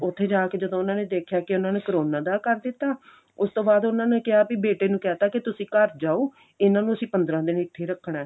ਉੱਥੇ ਜਾ ਕੇ ਜਦੋਂ ਉਹਨਾ ਨੇ ਦੇਖਿਆ ਕੀ ਉਹਨਾਂ ਨੂੰ ਕਰੋਨਾ ਦਾ ਕਰ ਦਿੱਤਾ ਉਸ ਤੋਂ ਬਾਅਦ ਉਹਨਾ ਨੇ ਕਹਿਤਾ ਵੀ ਬੇਟੇ ਨੂੰ ਕਿਹ ਤਾ ਵੀ ਤੁਸੀਂ ਘਰ ਜਾਓ ਇਹਨਾ ਨੂੰ ਅਸੀਂ ਪੰਦਰਾਂ ਦਿਨ ਇੱਥੇ ਹੀ ਰੱਖਣਾ